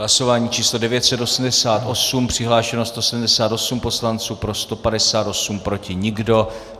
Hlasování číslo 988, přihlášeno 178 poslanců, pro 158, proti nikdo.